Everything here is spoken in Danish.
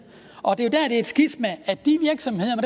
og det er det er et skisma at de virksomheder